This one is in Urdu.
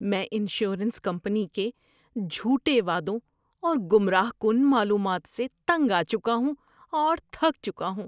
میں انشورنس کمپنی کے جھوٹے وعدوں اور گمراہ کن معلومات سے تنگ آ چکا ہوں اور تھک چکا ہوں۔